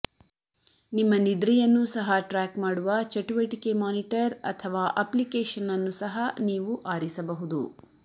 ನಿಮ್ಮ ನಿದ್ರೆಯನ್ನೂ ಸಹ ಟ್ರ್ಯಾಕ್ ಮಾಡುವ ಚಟುವಟಿಕೆ ಮಾನಿಟರ್ ಅಥವಾ ಅಪ್ಲಿಕೇಶನ್ ಅನ್ನು ಸಹ ನೀವು ಆರಿಸಬಹುದು